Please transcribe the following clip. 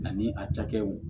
Ani a cakɛw